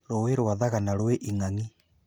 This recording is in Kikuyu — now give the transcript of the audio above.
Rũũĩ rwa thagana rwĩ ing'ang'i